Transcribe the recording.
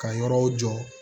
Ka yɔrɔw jɔ